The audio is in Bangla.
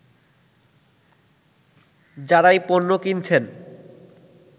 যারাই পণ্য কিনছেন